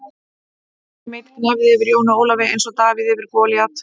Johnny Mate gnæfði yfir Jóni Ólafi eins og Davíð yfir Golíat.